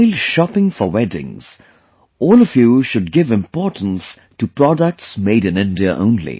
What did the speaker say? While shopping for weddings, all of you should give importance to products made in India only